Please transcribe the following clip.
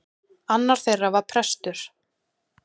Annar þeirra var prestur.